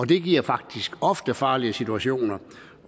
det giver faktisk ofte farlige situationer